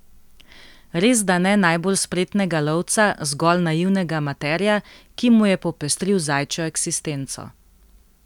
Resda ne najbolj spretnega lovca, zgolj naivnega amaterja, ki mu je popestril zajčjo eksistenco.